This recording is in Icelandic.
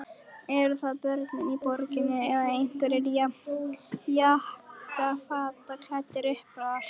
Eru það börnin í borginni eða einhverjir jakkafataklæddir uppar?